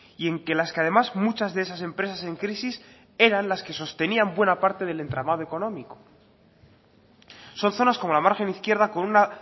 y en que las que además muchas de esas empresas en crisis eran las que sostenían buena parte del entramado económico son zonas como la margen izquierda con una